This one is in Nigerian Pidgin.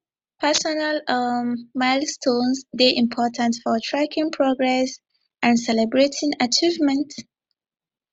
personal um milestones dey important for tracking progress and celebrating achievements